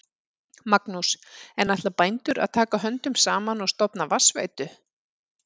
Magnús: En ætla bændur að taka höndum saman og stofna vatnsveitu?